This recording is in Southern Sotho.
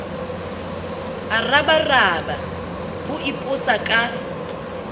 a rabaraba v o ipotsaka